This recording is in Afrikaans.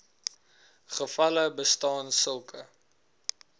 gevalle bestaan sulke